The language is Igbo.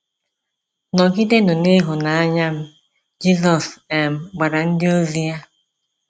“ Nọgidenụ n’ịhụnanya m, "Jizọs um gwara ndịozi ya.